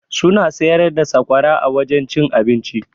Suna siyar da sakwara a wajen cin abinci.